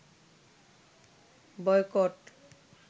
boycott